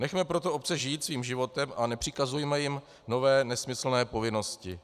Nechme proto obce žít svým životem a nepřikazujme jim nové, nesmyslné povinnosti.